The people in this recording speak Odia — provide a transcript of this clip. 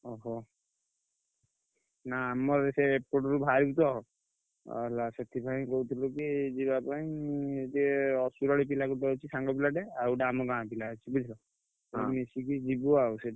ଓହୋ ନା ଆମର ସେ ଏପଟରୁ ବାହରିଛ ହେଲା ସେଥିପାଇଁ କହୁଥିଲୁ କି ଯିବା ପାଇଁ ଯେ ପିଲା ଗୋଟେ ଅଛି ସାଙ୍ଗ ପିଲାଟେ ଆଉ ଗୋଟେ ଆମ ଗାଁ ପିଲା ଅଛି ବୁଝିଲ। ମିଶିକି ଯିବୁ ଆଉ।